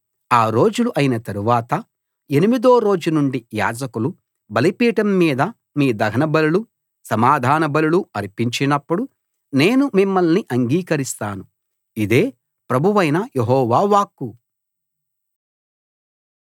ఆ రోజులు అయిన తరవాత ఎనిమిదో రోజు నుండి యాజకులు బలిపీఠం మీద మీ దహనబలులు సమాధానబలులు అర్పించినప్పుడు నేను మిమ్మల్ని అంగీకరిస్తాను ఇదే ప్రభువైన యెహోవా వాక్కు